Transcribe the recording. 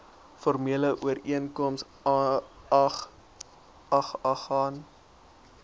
formele ooreenkoms aagegaan